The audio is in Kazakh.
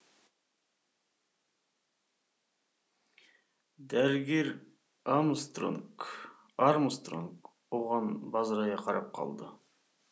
дәрігер армстронг оған бажырая қарап қалды